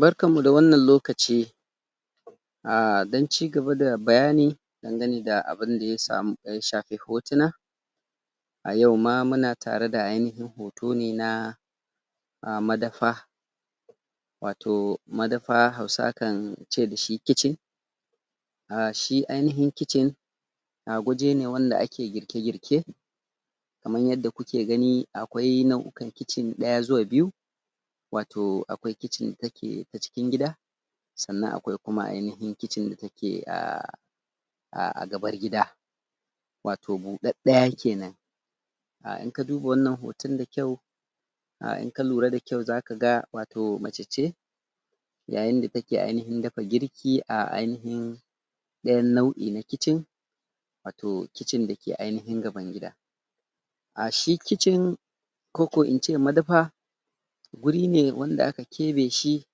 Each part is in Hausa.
Barkanmu da wannan lokaci! A don ci gaba da bayani dangane da abinda ya shafi hotunan a yau ma muna tare da hoto ne na madafa wato madafa Hausawa kan ce da shi kicin shi anahin kicin waje ne wanda ake girke-girke kamar yadda ku ke gani akwai nau'ukan kicin ɗaya zuwa biyu wato akwai kicin da take ta cikin gida sanna kuma akwai ainahin kicin da a a gabar gida wato buɗaɗɗaya kenan in ka duba wannan hoton da kyau in ka lura da kyau za ka ga wato mace ce yayin da take ainahin dafa girki a ainahin ɗayan nau'i na kicin wato kicin da ke ainahin gaban gida a shi kicin ko ko in ce madafa wuri ne wana aka keɓe shi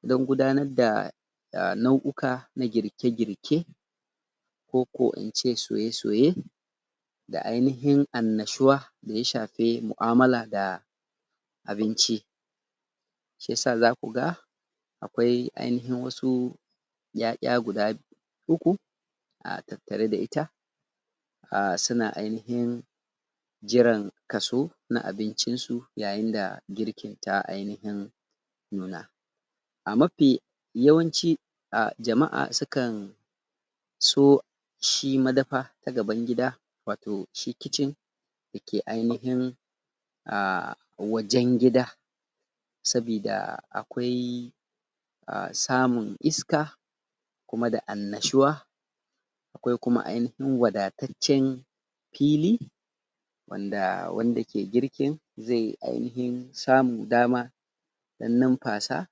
don gudanar da nau'uka na girke-girke ko ko in ce soye-soye da ainahin annashuwa da ya shafi mu'amala da da abinci shi ya sa za ku ga akwai ainahin wasu 'ya'ya guda uku a tattare da ita suna ainahin jiran kaso na abincinsu yayin da girkin ta ainahin nuna a mafi yawanci a jama'a sukan so shi madafa ta gaban gida wato shi kicin da ke ainahin a wajen gida sabida akwai samun iska kuma da annashiwa akwai kuma wadataccen fili wanda, wanda ke girki zai ainahin samu dama ya nunfasa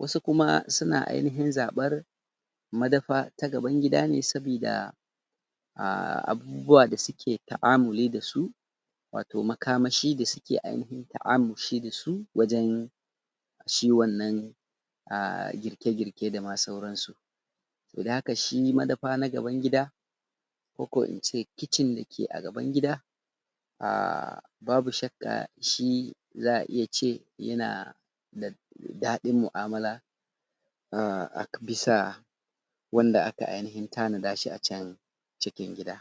wasu kuma suna ainahin zaɓar madafa ta gaban gida ne sabida a abubuwa da suke ta'amuli da su wato makamashi da suke ainahin ta'amushi da su wajen shi wannan a girke-girke da ma sauransu to don haka shi madafa na gaban gida ko ko in ce kicin da ke a gaban gida a babu shakka za a iya ce yana da ɗaɗin mu'amala a bisa wanda aka ainahin tanada a can cikin gida.